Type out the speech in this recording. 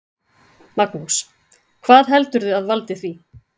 Magnús: Hvað heldurðu að valdi því?